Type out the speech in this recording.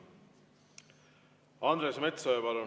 Andres Metsoja, palun!